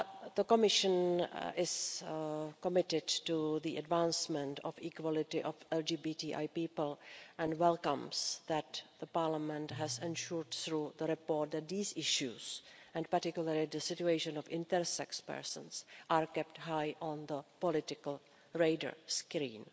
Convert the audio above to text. The Commission is committed to the advancement of equality of LGBTI people and welcomes that Parliament has ensured, through the report, that these issues, and particularly the situation of intersex persons, are kept high on the political radar screen.